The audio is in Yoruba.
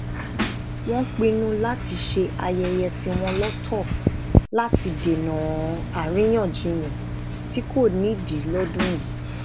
wón pinnu láti ṣe ayẹyẹ tíwọn lọtọ láti dènà àríyànjiyàn tí kò nídìí lọdún yìí